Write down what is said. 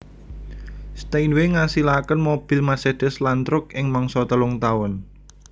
Steinway ngasilake mobil Mercedes lan truk ing mangsa telung taun